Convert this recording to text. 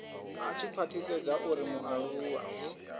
a tshi khwathisedza uri mualuwa